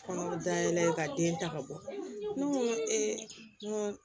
Kɔnɔ bɛ da yɛlɛ ka den ta ka bɔ ne ko n ko